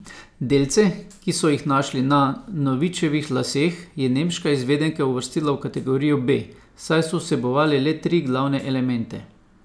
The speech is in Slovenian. Delce, ki so jih našli na Novičevih laseh, je nemška izvedenka uvrstila v kategorijo B, saj so vsebovali le tri glavne elemente.